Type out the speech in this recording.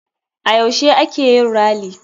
A yaushe a keyin rally?